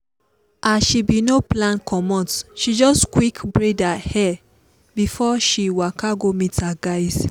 as she bin no plan comot she just quick braid her hair before she waka go meet her guys.